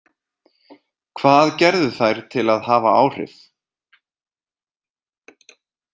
Hvað gerðu þær til að hafa áhrif?